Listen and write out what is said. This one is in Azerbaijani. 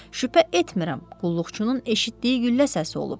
Şübhə etmirəm, qulluqçunun eşitdiyi güllə səsi olub.